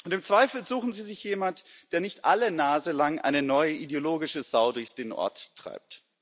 Im Zweifel suchen sie sich jemanden, der nicht alle Nase lang eine neue ideologische Sau durch den Ort treibt.